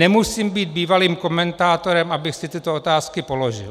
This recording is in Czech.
Nemusím být bývalým komentátorem, abych si tyto otázky položil.